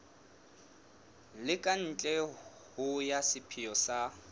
le katleho ya sepheo sa